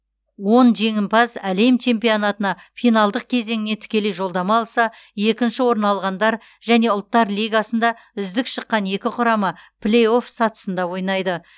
он жеңімпаз әлем чемпионатына финалдық кезеңіне тікелей жолдама алса екінші орын алғандар және ұлттар лигасында үздік шыққан екі құрама плей офф сатысында ойнайды